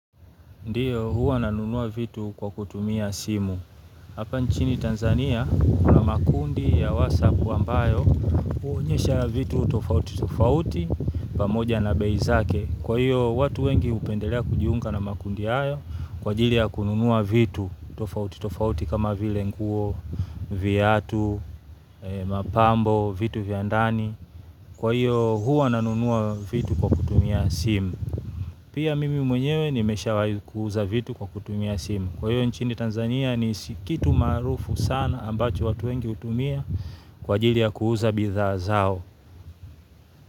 Ndiyo, huwa nanunua vitu kwa kutumia simu. Hapa nchini Tanzania, kuna makundi ya whatsapp ambayo, huonyesha vitu tofauti tofauti, pamoja na bei zake. Kwa hiyo, watu wengi hupendelea kujiunga na makundi hayo, kwa ajili ya kununua vitu tofauti tofauti, kama vile nguo, viatu, mapambo, vitu vya ndani. Kwa hiyo, huwa nanunua vitu kwa kutumia simu. Pia mimi mwenyewe nimeshawai kuuza vitu kwa kutumia simu kwa hiyo nchini Tanzania ni kitu maarufu sana ambacho watu wengi hutumia kwa ajili ya kuuza bidhaa zao.